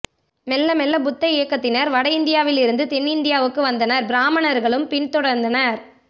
மெல்ல மெல்ல புத்த இயக்கத்தினர் வட இந்தி யாவிலிருந்து தென்னிந்தி யாவுக்கு வந்தனர் பிராமணர்களும் பின் தொடர்ந்தனர்